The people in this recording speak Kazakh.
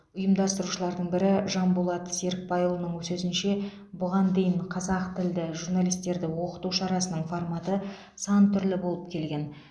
ұйымдастырушылардың бірі жанболат серікбайұлының сөзінше бұған дейін қазақ тілді журналистерді оқыту шарасының форматы сан түрлі болып келген